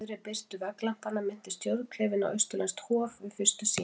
Í rauðri birtu vegglampanna minnti stjórnklefinn á austurlenskt hof- við fyrstu sýn.